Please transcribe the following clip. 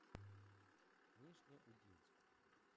нижнеудинску